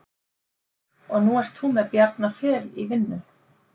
Og nú ert þú með Bjarna Fel í vinnu?